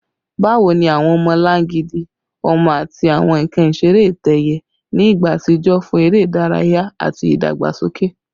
Bawo ni awọn ọmọlangidi ọmọ ati awọn nkan isere itẹ-ẹiyẹ ni igba atijọ fun ere idaraya ati idagbasoke?